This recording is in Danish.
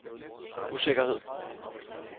usikkerhed